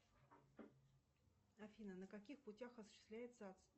афина на каких путях осуществляется